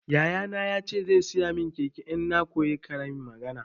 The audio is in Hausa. Yaya na ya ce zai saya min keke in na koyi karin magana.